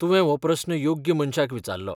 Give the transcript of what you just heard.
तुवें हो प्रस्न योग्य मनशाक विचारलो.